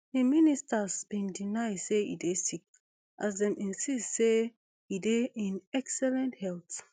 im ministers bin deny say e dey sick as dem insist say e dey in excellent health